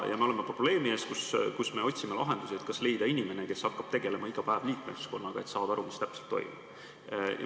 Me oleme probleemi ees, kus me otsime lahendusi, et kas leida inimene, kes hakkab tegelema iga päev liikmeskonnaga, et saada aru, mis täpselt toimub.